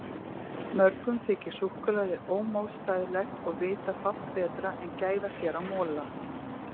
Mörgum þykir súkkulaði ómótstæðilegt og vita fátt betra en gæða sér á mola.